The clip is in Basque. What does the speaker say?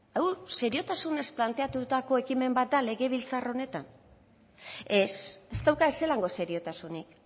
hau seriotasunez planteatutako ekimen bat da legebiltzar honetan ez ez dauka ezelango seriotasunik